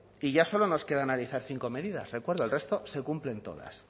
que ya solo nos queda analizar cinco medidas recuerdo el resto se cumplen todas